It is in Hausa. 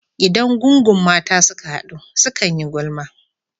Idan gungun mata suka hadu, sukan yi gulma.